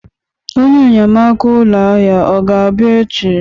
Onye enyemaka ụlọ ahịa ọ ga-abịa echi?